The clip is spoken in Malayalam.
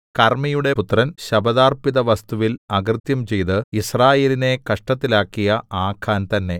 കർമ്മിയുടെ പുത്രൻ ശപഥാർപ്പിതവസ്തുവിൽ അകൃത്യം ചെയ്ത് യിസ്രായേലിനെ കഷ്ടത്തിലാക്കിയ ആഖാൻ തന്നെ